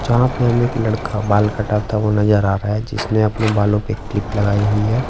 जहाँ पे हमें एक लड़का बाल कटाता हुआ नजर आ रहा हैं जिसने अपने बालों पे एक क्लिप लगाई हुई हैं।